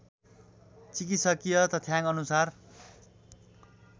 चिकित्सकीय तथ्याङ्क अनुसार